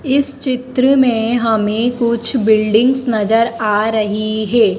इस चित्र में हमें कुछ बिल्डिंगस नजर आ रही है।